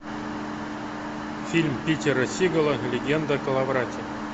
фильм питера сигала легенда о коловрате